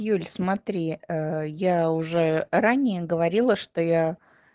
юль смотри я уже ранее говорила что я